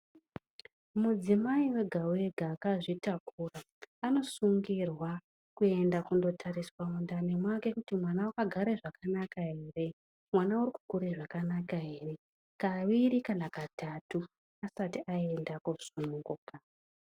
Mudzimai wega-wega akazvitakura anosungirwa kuenda kundotariswa mundani make kuti mwana akagara zvakanaka ere, mwana arikukura zvakanaka ere kaviri kana katatu asati aenda kosununguka.